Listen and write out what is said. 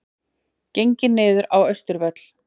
Gengið niður á Austurvöll